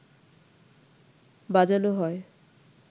বাজানো হয়